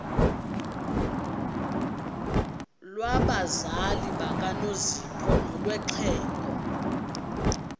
lwabazali bakanozpho nolwexhego